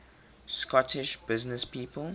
scottish businesspeople